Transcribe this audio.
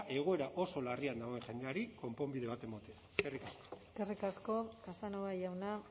egoera oso larrian dagoen jendeari konponbide bat ematea eskerrik asko eskerrik asko casanova jauna